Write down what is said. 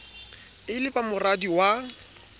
e le ba moradi wa